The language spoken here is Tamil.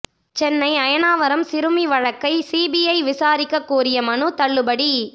சென்னை அயனாவரம் சிறுமி வழக்கை சிபிஐ விசாரிக்க கோரிய மனு தள்ளுபடி